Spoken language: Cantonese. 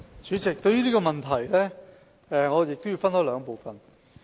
主席，對於這個問題，我亦要分開兩部分作答。